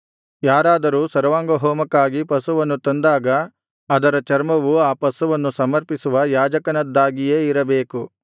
ಯಾರಾದರೂ ಸರ್ವಾಂಗಹೋಮಕ್ಕಾಗಿ ಪಶುವನ್ನು ತಂದಾಗ ಅದರ ಚರ್ಮವು ಆ ಪಶುವನ್ನು ಸಮರ್ಪಿಸುವ ಯಾಜಕನದ್ದಾಗಿಯೇ ಇರಬೇಕು